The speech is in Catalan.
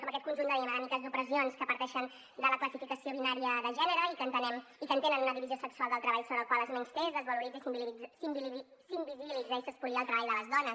com aquest conjunt de dinàmiques d’opressions que parteixen de la classificació binària de gènere i que entenen una divisió sexual del treball per la qual es menysté es desvaloritza i s’invisibilitza i s’espolia el treball de les dones